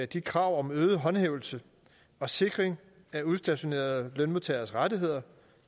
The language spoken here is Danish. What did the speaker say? de krav om øget håndhævelse og sikring af udstationerede lønmodtageres rettigheder